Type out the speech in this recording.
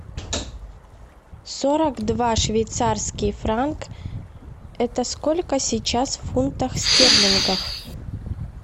сорок два швейцарский франк это сколько сейчас в фунтах стерлингах